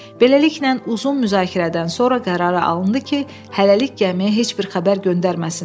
Beləliklə, uzun müzakirədən sonra qərara alındı ki, hələlik gəmiyə heç bir xəbər göndərməsinlər.